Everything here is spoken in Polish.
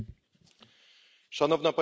Szanowna Pani Przewodnicząca!